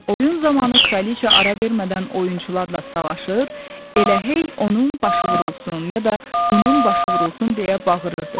Oyun zamanı Kraliçea ara vermədən oyunçularla savaşır, elə hey onun başı vurulsun ya da bunun başı vurulsun deyə bağırırdı.